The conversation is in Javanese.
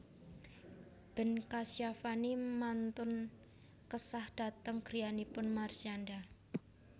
Ben Kasyafani mantun kesah dhateng griyanipun Marshanda